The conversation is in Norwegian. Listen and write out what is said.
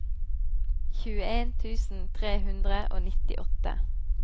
tjueen tusen tre hundre og nittiåtte